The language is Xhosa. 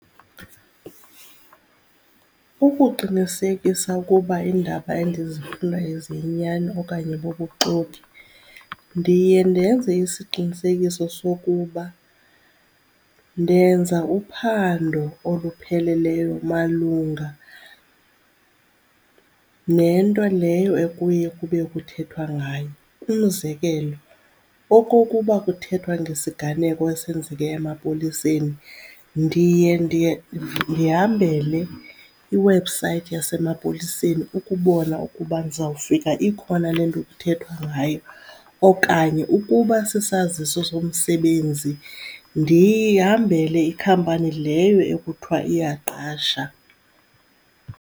Ukuqinisekisa ukuba iindaba endizifundayo ziyinyani okanye bubuxoki ndiye ndenze isiqinisekiso sokuba ndenza uphando olupheleleyo malunga nento leyo ekuye kube kuthethwa ngayo. Umzekelo okokuba kuthethwa ngesiganeko esenzeke emapoliseni, ndiye ndiye ndihambele iwebhusayithi yasemapoliseni ukubona ukuba ndizawufika ikhona le nto kuthethwa ngayo okanye ukuba sisaziso somsebenzi, ndihambele ikhampani leyo ekuthiwa iyaqasha.